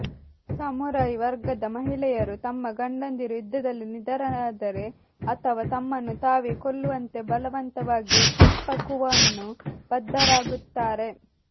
samurai ವರ್ಗದ ಮಹಿಳೆಯರು ತಮ್ಮ ಗಂಡಂದಿರು ಯುದ್ಧದಲ್ಲಿ ನಿಧನರಾದರೆ ಅಥವಾ ತಮ್ಮನ್ನು ತಾವೇ ಕೊಲ್ಲುವಂತೆ ಬಲವಂತವಾಗಿ ಸೆಪ್ಪಕುವನ್ನು ಬದ್ಧರಾಗುತ್ತಾರೆ